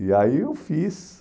E aí eu fiz.